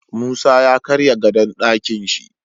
Musa ya karya gadon Ɗakinshi